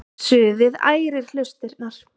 Suðið ærir hlustirnar.